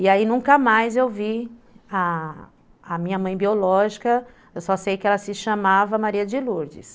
E aí nunca mais eu vi a a minha mãe biológica, eu só sei que ela se chamava Maria de Lourdes.